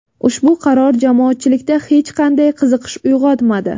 Ushbu qaror jamoatchilikda hech qanday qiziqish uyg‘otmadi.